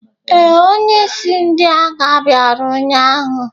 Ee, onye isi ndị agha bịara ụnyahụ.